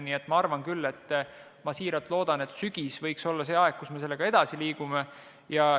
Nii et ma küll siiralt loodan, et sügisel me liigume sellega edasi.